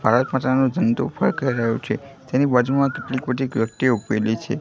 ભારત માતાનો જંડો ફરકાઈ રહ્યો છે તેની બાજુમાં કેટલીક બધી વ્યક્તિઓ ઉભેલી છે.